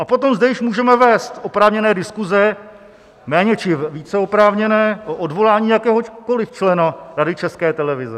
A potom zde již můžeme vést oprávněné diskuse, méně či více oprávněné, o odvolání jakéhokoliv člena Rady České televize.